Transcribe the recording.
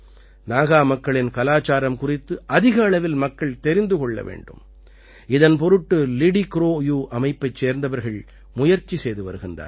நாகா மக்களின் கலாச்சாரம் குறித்து அதிக அளவில் மக்கள் தெரிந்து கொள்ள வேண்டும் இதன் பொருட்டு லிடிக்ரோயூ அமைப்பைச் சார்ந்தவர்கள் முயற்சி செய்து வருகிறார்கள்